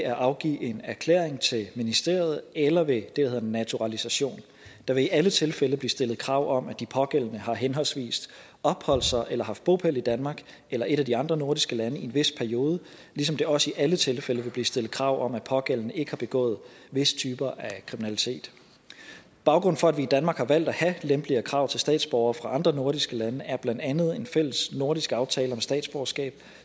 at afgive en erklæring til ministeriet eller ved det der hedder naturalisation der vil i alle tilfælde blive stillet krav om at de pågældende har henholdsvis opholdt sig i eller haft bopæl i danmark eller et af de andre nordiske lande i en vis periode ligesom der også i alle tilfælde vil blive stillet krav om at de pågældende ikke har begået visse typer af kriminalitet baggrunden for at vi i danmark har valgt at have lempeligere krav til statsborgere fra andre nordiske lande er blandt andet en fællesnordisk aftale om statsborgerskab